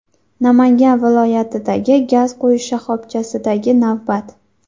Namangan viloyatidagi gaz quyish shoxobchasidagi navbat.